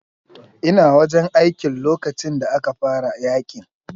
Ina wajen aikin lokacin da aka fara yaƙin.